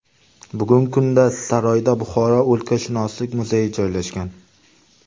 Bugungi kunda saroyda Buxoro o‘lkashunoslik muzeyi joylashgan.